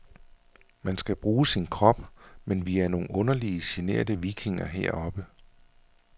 Man skal bruge sin krop, men vi er nogen underlige, generte vikinger heroppe.